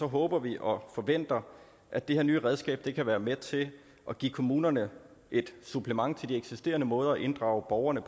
håber vi og forventer at det her nye redskab kan være med til at give kommunerne et supplement til de eksisterende måder at inddrage borgerne